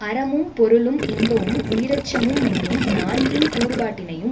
அறமும் பொருளும் இன்பமும் உயிரச்சமுமென்னும் நான்கின் கூறுபாட்டினையும்